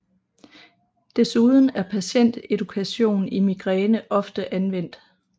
Desuden er patient edukation i migræne ofte anvendt